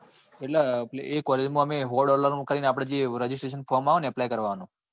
એટલે એ calling માં અમે સો dollar નું કરી ને આપડે જે registration form આવે ને apply કરવા? નું